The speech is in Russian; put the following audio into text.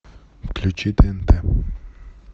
включи тнт